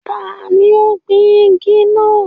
Taani ó gbìn igi náà?